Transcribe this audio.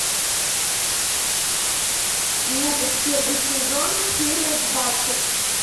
метод первый сезон серия двадцать